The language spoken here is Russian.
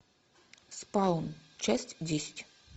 спаун часть десять